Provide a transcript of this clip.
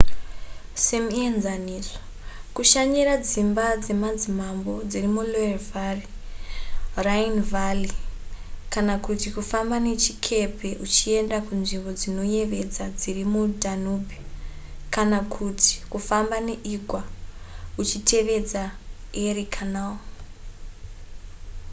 semuenzaniso kushanyira dzimba dzemadzimambo dziri muloire valley rhine valley kana kuti kufamba nechikepe uchienda kunzvimbo dzinoyevedza dziri mudanube kana kuti kufamba neigwa uchitevedza erie canal